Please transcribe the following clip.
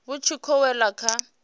vhu tshi khou wela kha